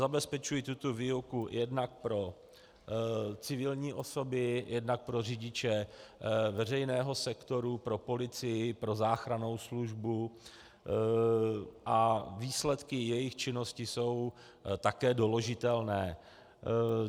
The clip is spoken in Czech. Zabezpečují tuto výuku jednak pro civilní osoby, jednak pro řidiče veřejného sektoru, pro policii, pro záchrannou službu a výsledky jejich činnosti jsou také doložitelné.